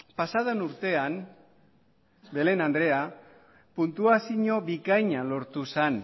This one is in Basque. pasa den urtean belen andrea puntuazio bikaina lortu zan